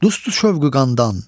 dostluq şövqü qandan.